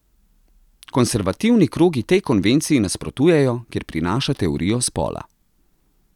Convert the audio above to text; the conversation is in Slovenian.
Konservativni krogi tej konvenciji nasprotujejo, ker prinaša teorijo spola.